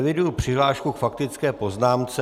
Eviduji přihlášku k faktické poznámce.